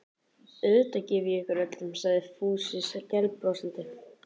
Auðvitað gef ég ykkur öllum sagði Fúsi skælbrosandi.